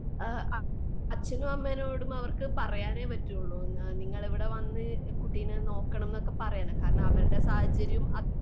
ആ അച്ഛനും അമ്മയോടും അവർക്ക് പറയാനേ പറ്റുവൊള്ളൂ. നിങ്ങൾ ഇവിടെ വന്ന് കുട്ടീനെ നോക്കണം എന്നൊക്കെ പറയല് അവരുടെ സാഹചര്യം